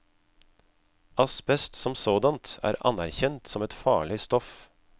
Asbest som sådant er anerkjent som et farlig stoff.